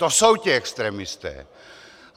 To jsou ti extremisté.